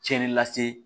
Cɛnni lase